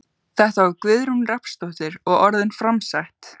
Þetta var Guðrún Rafnsdóttir og orðin framsett.